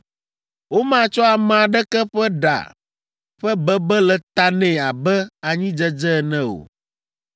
“Womatsɔ ame aɖeke ƒe ɖa ƒe bebe le ta nɛ abe anyidzedze ene o!